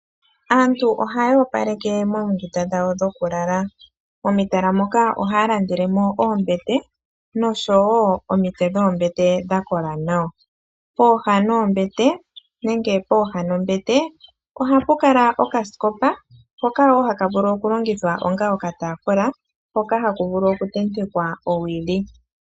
Aantu ohaya opaleke moondunda dhawo dhokulala. Momitala moka ohaya landelemo oombete noshowoo omitse dhoombete dha kola nawa. Pooha dhombete ohapu kala okasikopa , hoka haka vulu onga okataafula hoka haku vulu okutentekwa owili.